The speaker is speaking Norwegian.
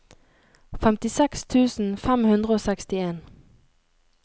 femtiseks tusen fem hundre og sekstien